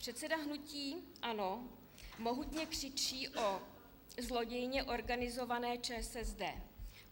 Předseda hnutí ANO mohutně křičí o zlodějně organizované ČSSD.